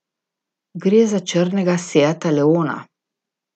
Gre za črnega seata leona.